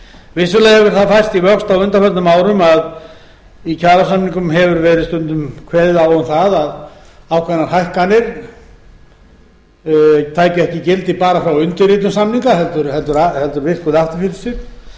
vissulega hefur það færst í vöxt á undanförnum árum að í kjarasamningum hefur verið stundum kveðið á um að ákveðnar hækkanir tækju ekki gildi bara frá undirritun samninga heldur virkuðu aftur